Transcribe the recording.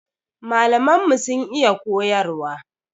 Malaman mu sun iya koyarwa.